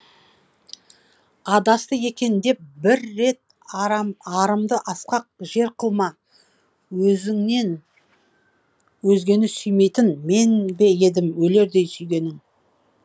адасты екен деп бір рет арымды асқақ жер қылма өзінен өзгені сүймейтін мен бе едім өлердей сүйгенің